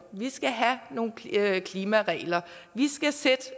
vi skulle have nogle klimaregler